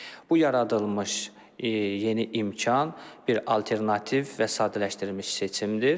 Bu yaradılmış yeni imkan bir alternativ və sadələşdirilmiş seçimdir.